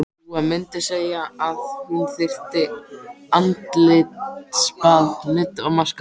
Dúa mundi segja að hún þyrfti andlitsbað, nudd og maska.